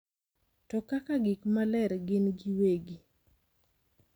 to kaka gik maler gin giwegi.